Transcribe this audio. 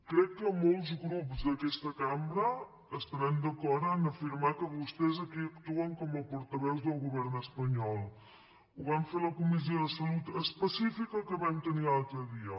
crec que molts grups d’aquesta cambra estaran d’acord a afirmar que vostès aquí actuen com a por·taveus del govern espanyol ho van fer a la comis·sió de salut específica que vam tenir l’altre dia